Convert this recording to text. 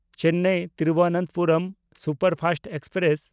Chennai Thiruvananthapuram superfast express